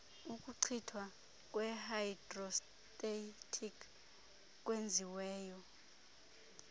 ukuchithwa kwehayidrostatiki kwenziweyo